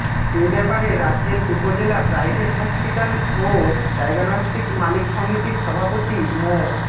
এ ব্যাপারে রাজৈর উপজেলা private hospital ও ডায়াগনস্টিক মালিক সমিতির সভাপতি মো